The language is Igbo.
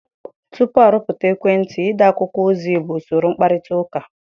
Tupu arụpụta ekwentị, ide akwụkwọ ozi bụ usoro mkparịta ụka.